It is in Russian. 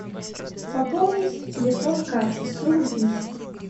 пополнить телефон кати сто рублей